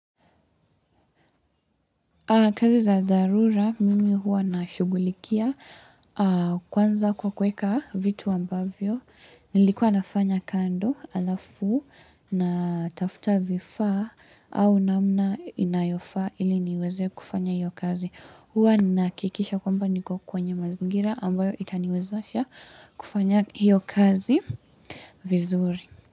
Kazi za dharura, mimi huwa na shugulikia kwanza kwa kuweka vitu ambavyo, nilikuwa nafanya kando alafu natafuta vifaa au namna inayofa ili niweze kufanya hiyo kazi. Huwa nahakikisha kwamba niko kwenye mazingira ambayo itaniwezasha kufanya hiyo kazi vizuri.